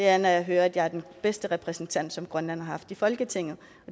er når jeg hører at jeg er den bedste repræsentant som grønland har haft i folketinget